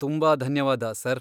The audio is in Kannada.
ತುಂಬಾ ಧನ್ಯವಾದ, ಸರ್.